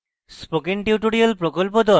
spoken tutorial প্রকল্প the